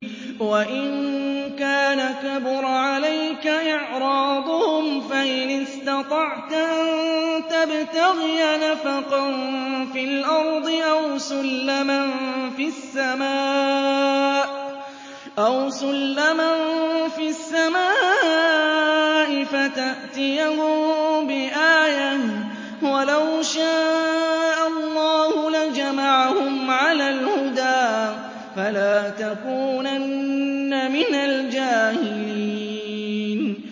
وَإِن كَانَ كَبُرَ عَلَيْكَ إِعْرَاضُهُمْ فَإِنِ اسْتَطَعْتَ أَن تَبْتَغِيَ نَفَقًا فِي الْأَرْضِ أَوْ سُلَّمًا فِي السَّمَاءِ فَتَأْتِيَهُم بِآيَةٍ ۚ وَلَوْ شَاءَ اللَّهُ لَجَمَعَهُمْ عَلَى الْهُدَىٰ ۚ فَلَا تَكُونَنَّ مِنَ الْجَاهِلِينَ